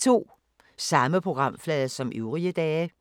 Samme programflade som øvrige dage